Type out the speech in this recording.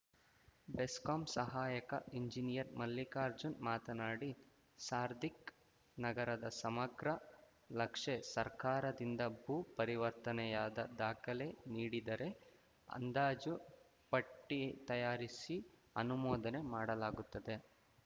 ಬೆಸ್ಕಾಂ ಸಹಾಯಕ ಎಂಜಿನಿಯರ್‌ ಮಲ್ಲಿಕಾರ್ಜುನ್‌ ಮಾತನಾಡಿ ಸಾರ್ಧಿಕ್‌ ನಗರದ ಸಮಗ್ರ ಲಕ್ಷೆ ಸರ್ಕಾರದಿಂದ ಭೂ ಪರಿವರ್ತನೆಯಾದ ದಾಖಲೆ ನೀಡಿದರೆ ಅಂದಾಜು ಪಟ್ಟಿತಯಾರಿಸಿ ಅನುಮೋದನೆ ಮಾಡಲಾಗುತ್ತದೆ